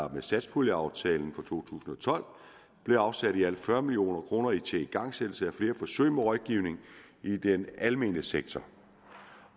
med satspuljeaftalen for to tusind og tolv blev afsat i alt fyrre million kroner til igangsættelse af flere forsøg med rådgivning i den almene sektor